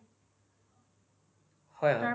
হয়